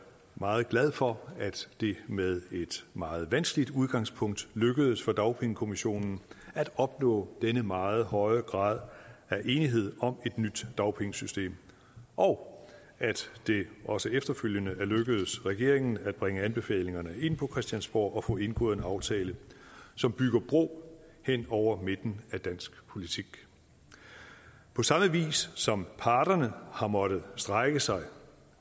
meget glad for at det med et meget vanskeligt udgangspunkt lykkedes for dagpengekommissionen at opnå denne meget høje grad af enighed om et nyt dagpengesystem og at det også efterfølgende er lykkedes regeringen at bringe anbefalingerne ind på christiansborg og få indgået en aftale som bygger bro hen over midten af dansk politik på samme vis som parterne har måttet strække sig